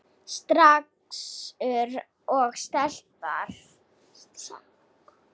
Strákur og stelpa.